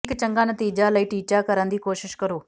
ਇੱਕ ਚੰਗਾ ਨਤੀਜਾ ਲਈ ਟੀਚਾ ਕਰਨ ਦੀ ਕੋਸ਼ਿਸ਼ ਕਰੋ